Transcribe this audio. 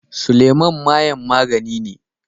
Suleman mayen magani ne.